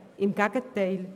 Im Gegenteil